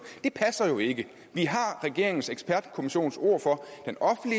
det passer jo ikke vi har regeringens ekspertkommissions ord for